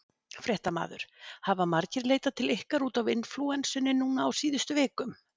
Fréttamaður: Hafa margir leitað til ykkar út af inflúensunni núna á síðustu vikum?